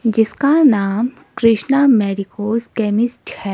जिसका नाम कृष्णा केमिस्ट है।